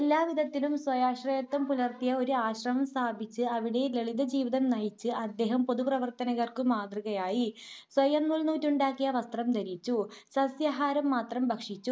എല്ലാ വിധത്തിലും സ്വയാശ്രയത്വം പുലർത്തിയ ഒരു ആശ്രമം സ്ഥാപിച്ച് അവിടെ ലളിത ജീവിതം നയിച്ച് അദ്ദേഹം പൊതുപ്രവർത്തകർക്കു മാതൃകയായി. സ്വയം നൂൽനൂറ്റുണ്ടാക്കിയ വസ്ത്രം ധരിച്ചു, സസ്യാഹാരം മാത്രം ഭക്ഷിച്ചു,